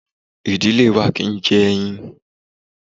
Ìdílé wa kì í jẹ ẹyin.